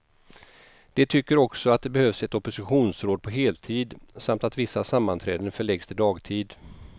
De tycker också att det behövs ett oppositionsråd på heltid, samt att vissa sammanträden förläggs till dagtid.